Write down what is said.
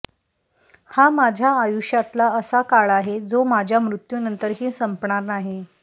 हा माझ्या आयुष्यातला असा काळ आहे जो माझ्या मृत्यूनंतरही संपणार नाही